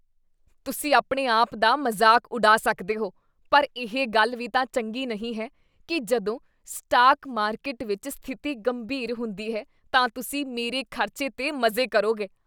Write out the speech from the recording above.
ਤੁਸੀਂ ਆਪਣੇ ਆਪ ਦਾ ਮਜ਼ਾਕ ਉਡਾ ਸਕਦੇ ਹੋ ਪਰ ਇਹ ਗੱਲ ਵੀ ਤਾਂ ਚੰਗੀ ਨਹੀਂ ਹੈ ਕੀ ਜਦੋਂ ਸਟਾਕ ਮਾਰਕੀਟ ਵਿੱਚ ਸਥਿਤੀ ਗੰਭੀਰ ਹੁੰਦੀ ਹੈ ਤਾਂ ਤੁਸੀਂ ਮੇਰੇ ਖ਼ਰਚੇ 'ਤੇ ਮਜ਼ੇ ਕਰੋਗੇ।